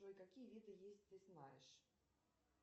джой какие виды есть ты знаешь